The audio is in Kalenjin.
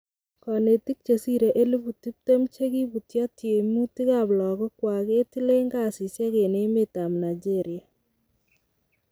Konetik chesire elibu tiptem chekiputio tiemutik ab logokwak ketilen kasisiek en emet ab Naigeria.